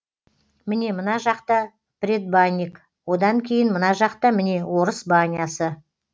міне мына жақта предбанник одан кейін мына жақта міне орыс банясы